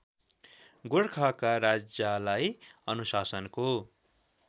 गोरखाका राजालाई अनुशासनको